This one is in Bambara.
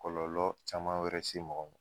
Kɔlɔlɔ caman wɛrɛ se mɔgɔ ma